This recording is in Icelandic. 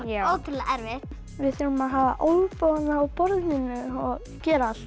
ótrúlega erfitt við þurfum að hafa olnbogana á borðinu og gera allt